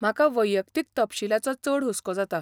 म्हाका वैयक्तीक तपशीलाचो चड हुस्को जाता.